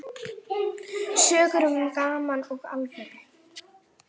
Sögur um gaman og alvöru.